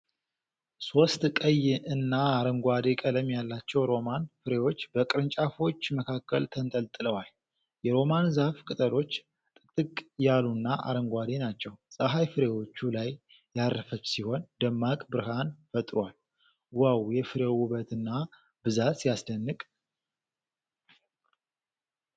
ሶስት ቀይና አረንጓዴ ቀለም ያላቸው ሮማን ፍሬዎች በቅርንጫፎች መካከል ተንጠልጥለዋል። የሮማን ዛፍ ቅጠሎች ጥቅጥቅ ያሉና አረንጓዴ ናቸው። ፀሐይ ፍሬዎቹ ላይ ያረፈች ሲሆን ደማቅ ብርሃን ፈጥሯል። "ዋው! የፍሬው ውበትና ብዛት ሲያስደንቅ!"